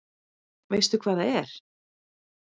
Veistu hvað það er?